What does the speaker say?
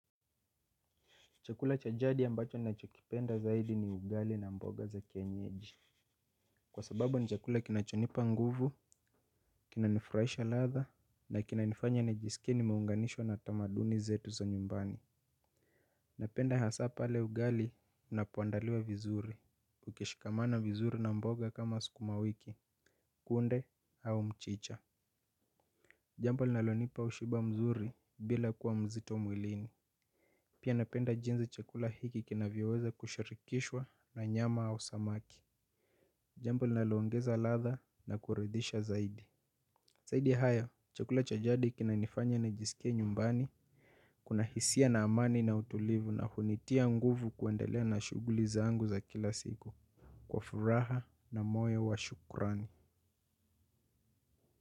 Chakula cha jadi ambacho ninachokipenda zaidi ni ugali na mboga za kienyeji. Kwa sababu ni chakula kinachonipa nguvu, kinanifurahisha latha, na kinanifanya nijisikie nimeunganishwa na tamaduni zetu za nyumbani. Napenda hasaa pale ugali unapoandaliwa vizuri, ukishikamana vizuri na mboga kama sukumawiki, kunde au mchicha. Jambo linalonipa ushiba mzuri bila kuwa mzito mwilini. Pia napenda jinsi chakula hiki kinavyoweza kushirikishwa na nyama au samaki. Jambo linaloongeza ladha na kuridhisha zaidi. Zaidi ya hayo, chakula cha jadi kinanifanya nijisikie nyumbani kuna hisia na amani na utulivu, na hunitia nguvu ya kuendelea na shughuli zangu za kila siku, kwa furaha na moyo wa shukrani.